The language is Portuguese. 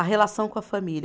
A relação com a família.